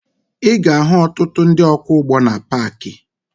Ị ga-ahụ ọtụtụ ndị ọkwọụgbọ na paakị